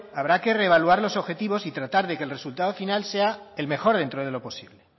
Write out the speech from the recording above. habrá que revaluar los objetivos y tratar que el resultado final sea el mejor dentro de lo posible